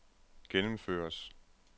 gennemføres